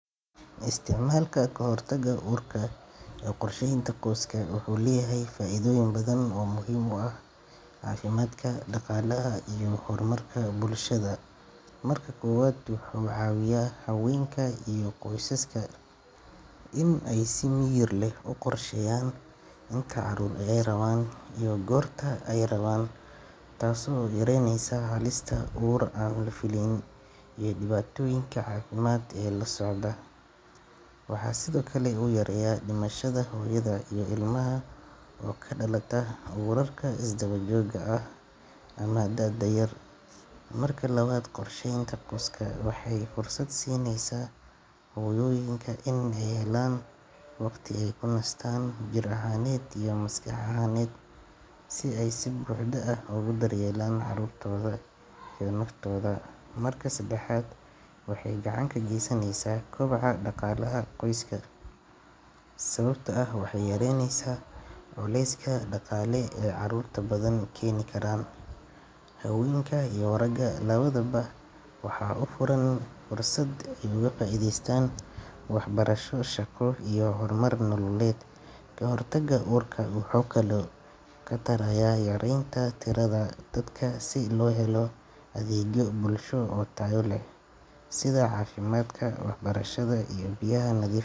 Isticmaalka kahortaga uurka ee qorsheynta qoyska wuxuu leeyahay faa'iidooyin badan oo muhiim u ah caafimaadka, dhaqaalaha iyo horumarka bulshada. Marka koowaad, wuxuu ka caawiyaa haweenka iyo qoysaska in ay si miyir leh u qorsheeyaan inta carruur ah ee ay rabaan iyo goorta ay rabaan, taasoo yareyneysa halista uur aan la fileynin iyo dhibaatooyinka caafimaad ee la socda. Waxaa sidoo kale uu yareeyaa dhimashada hooyada iyo ilmaha oo ka dhalata uurarka isdaba joogga ah ama da'da yar. Marka labaad, qorsheynta qoyska waxay fursad siinaysaa hooyooyinka in ay helaan waqti ay ku nastaan jir ahaaneed iyo maskax ahaaneed, si ay si buuxda ugu daryeelaan carruurtooda iyo naftooda. Marka saddexaad, waxay gacan ka geysaneysaa kobaca dhaqaalaha qoyska, sababtoo ah waxay yareyneysaa culeyska dhaqaale ee carruurta badan keeni kara. Haweenka iyo ragga labadaba waxaa u furan fursad ay uga faa’iidaystaan waxbarasho, shaqo iyo horumar nololeed. Kahortagga uurka wuxuu kaloo wax ka tarayaa yareynta tirada dadka si loo helo adeegyo bulsho oo tayo leh sida caafimaadka, waxbarashada iyo biyaha nadiif.